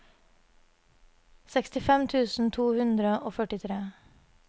sekstifem tusen to hundre og førtitre